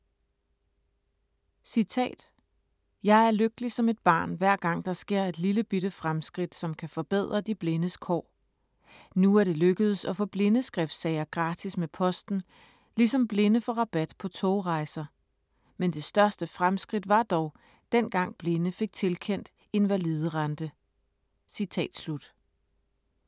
"Jeg er lykkelig som et barn, hver gang der sker et lillebitte fremskridt, som kan forbedre de blindes kår. Nu er det lykkedes at få blindeskriftsager gratis med posten, ligesom blinde får rabat på togrejser. Men det største fremskridt var dog, dengang blinde fik tilkendt invaliderente".